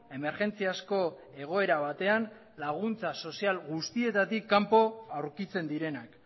emergentziazko egoera batean laguntza sozial guztietatik kanpo aurkitzen direnak